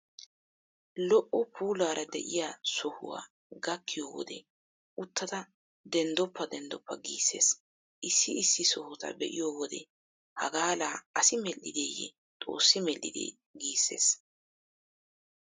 Lo"o puulaara de'iya sohuwa gakkiyo wode uttada denddoppa denddoppa giissees. Issi issi sohota be'iyo wode hagaa laa asi medhdhideeyyee xoossi medhdhidee giissees!